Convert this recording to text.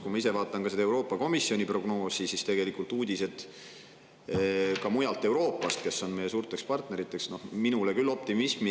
Kui ma ise vaatan seda Euroopa Komisjoni prognoosi ja uudiseid ka mujalt Euroopast, kus on meie suured partnerid, siis see minule küll optimismi ei sisenda.